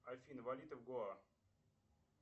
афина валюта в гоа